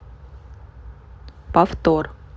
повтор